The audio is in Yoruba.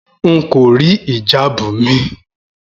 N kò rí ìjáàbù mi